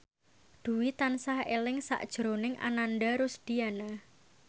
Dwi tansah eling sakjroning Ananda Rusdiana